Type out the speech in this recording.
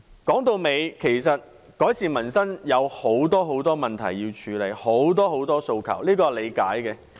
說到底，其實改善民生需要處理很多很多問題，很多很多訴求，這是可以理解的。